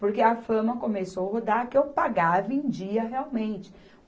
Porque a fama começou rodar que eu pagava em dia, realmente.